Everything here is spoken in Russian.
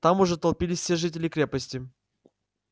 там уже толпились все жители крепости